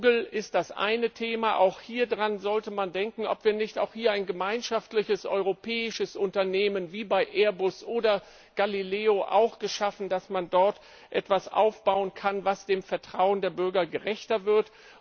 Google ist das eine Thema, auch hieran sollte man denken, ob wir nicht auch hier ein gemeinschaftliches europäisches Unternehmen wie bei Airbus oder Galileo schaffen, um dort etwas aufzubauen, das dem Vertrauen der Bürger gerechter wird.